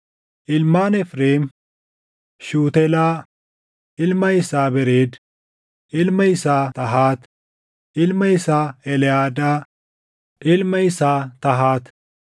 Ilmaan Efreem: Shuutelaa, ilma isaa Bereed, ilma isaa Tahaat, ilma isaa Eleʼaadaa, ilma isaa Tahaat,